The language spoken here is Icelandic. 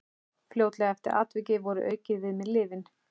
Fljótlega eftir atvikið voru aukin við mig lyfin.